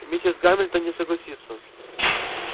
миссис гамильтон не согласится